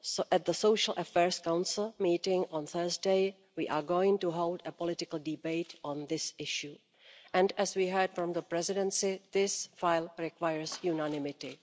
At the Social Affairs Council meeting on Thursday, we are going to hold a political debate on this issue and, as we heard from the Presidency, this file requires unanimity.